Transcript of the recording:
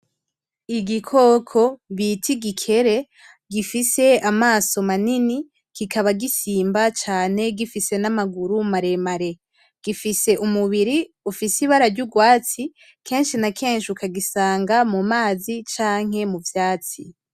Igikoko bita igikere gifise amaso manini kikaba gisimba cane gifise namaguru maremare, gifise umubiri ufise ibara ry'urwatsi kenshi na kenshi ukagisanga mumazi canke muvyatsi.